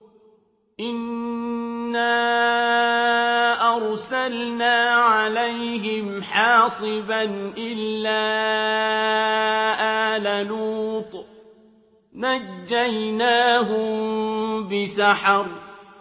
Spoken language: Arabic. إِنَّا أَرْسَلْنَا عَلَيْهِمْ حَاصِبًا إِلَّا آلَ لُوطٍ ۖ نَّجَّيْنَاهُم بِسَحَرٍ